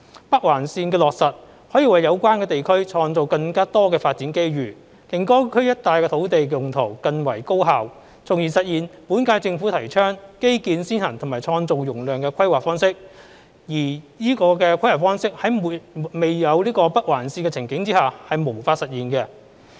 北環線的落實可為有關地區創造更多發展機遇，令該區一帶的土地用途更為高效，從而實現本屆政府提倡基建先行及創造容量的規劃方式，而此規劃方式在沒有北環線的情景下是無法實現。